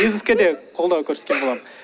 бизнеске де қолдау көрсеткен боламын